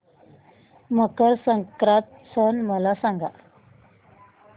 मकर संक्रांत सण मला सांगा